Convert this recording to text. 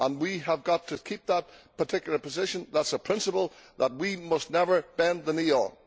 We have got to keep that particular position that is a principle that we must never bend the knee on.